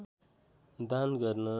दान गर्न